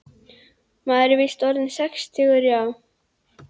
Maður er víst orðinn sextugur, já.